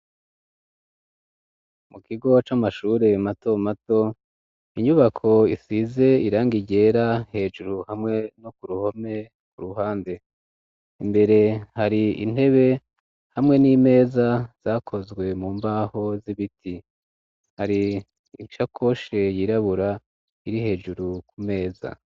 Mu kigo c'amashure mato mato, inyubako ifize irangi ryera hejuru hamwe no ku ruhome ku ruhande imbere hari intebe hamwe n'imeza zakozwe mu mbaho z'ibiti hari ichakoshe yirabura iri hejuru ku meza.